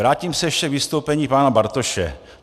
Vrátím se ještě k vystoupení pana Bartoše.